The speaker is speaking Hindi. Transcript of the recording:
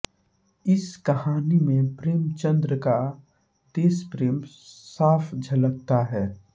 इस कहानी में प्रेमचंद का देशप्रेम साफ झलकता है